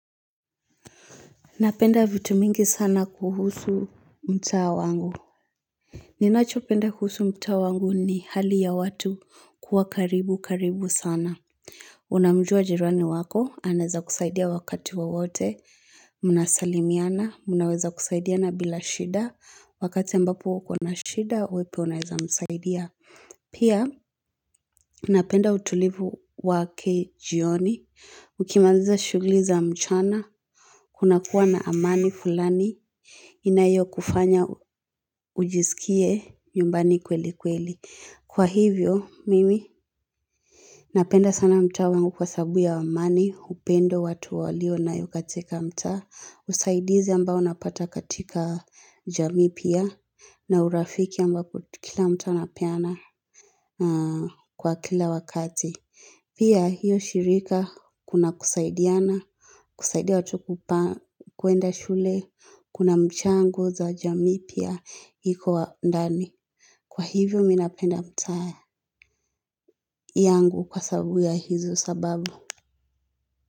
Napenda vitu mingi sana kuhusu mtaa wangu. Ninachopenda kuhusu mtaa wangu ni hali ya watu kuwa karibu karibu sana. Unamjua jirani wako, anaweza kusaidia wakati wowote. Mnasalimiana, mnaweza kusaidiana bila shida. Wakati ambapo uko na shida, wewe pia unaweza msaidia. Pia, napenda utulivu wake jioni. Ukimaliza shughuli za mchana. Kunakuwa na amani fulani. Inayokufanya ujisikie nyumbani kweli kweli. Kwa hivyo, mimi napenda sana mtaa wangu kwa sababu ya amani, upendo watu waliyonayo katika mtaa. Usaidizi ambao napata katika jamii pia na urafiki ambapo kila mtu anapeana kwa kila wakati. Pia hiyo shirika kuna kusaidiana, kusaidia watu kwenda shule, kuna mchango za jamii pia. Iko ndani. Kwa hivyo mimi napenda mtaa yangu kwa sababu ya hizo sababu.